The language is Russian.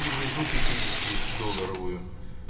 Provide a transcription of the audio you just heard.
и внизу пятидесяти долларовую